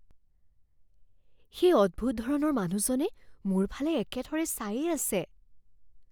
সেই অদ্ভুত ধৰণৰ মানুহজনে মোৰ ফালে একেথৰে চায়েই আছে।